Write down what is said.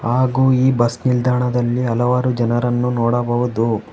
ಹಾಗು ಈ ಬಸ್ ನಿಲ್ದಾಣದಲ್ಲಿ ಹಲವಾರು ಜನರನ್ನು ನೋಡಬಹುದು.